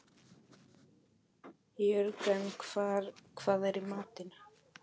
Jörgen, hvað er í matinn?